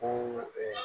Ko